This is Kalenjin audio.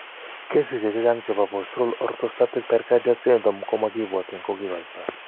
Kesisiek chechang' chebo postural orthostatic tachycardia syndrome komakibwotyin kokikoitoo